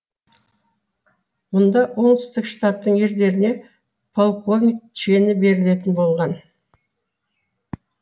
бұнда оңтүстік штаттың ерлеріне полковник шені берілетін болған